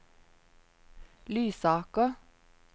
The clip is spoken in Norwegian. Lysaker